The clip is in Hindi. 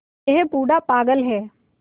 यह बूढ़ा पागल है